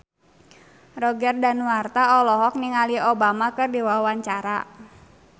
Roger Danuarta olohok ningali Obama keur diwawancara